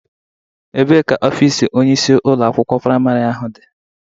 Ebee ka ofiisi onyeisi ụlọ akwụkwọ priamarị ha dị?